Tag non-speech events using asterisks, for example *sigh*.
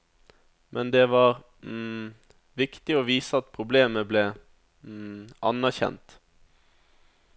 Men det var *hesitation* viktig å vise at problemet ble *hesitation* anerkjent.